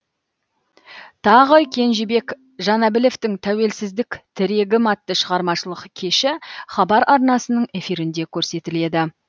тағы кенжебек жанәбіловтің тәуелсіздік тірегім атты шығармашылық кеші хабар арнасының эфирінде көрсетіледі